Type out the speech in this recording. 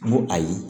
N ko ayi